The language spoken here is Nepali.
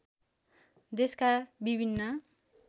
देशका विभिन्न